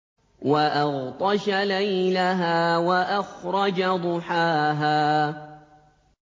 وَأَغْطَشَ لَيْلَهَا وَأَخْرَجَ ضُحَاهَا